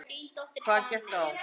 Hvað gekk á?